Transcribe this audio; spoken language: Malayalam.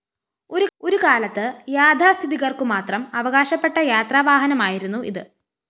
ഒരുകാലത്ത് യാഥാസ്ഥിതികര്‍ക്കുമാത്രം അവകാശപ്പെട്ട യാത്രാവാഹനമായിരുന്നു ഇത്